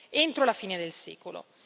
entro la fine del secolo.